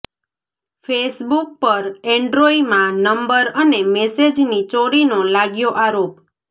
Facebook પર એન્ડ્રોઇમાં number અને મેસેજની ચોરીનો લાગ્યો આરોપ